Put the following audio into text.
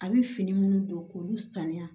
A bɛ fini minnu don k'olu sanuya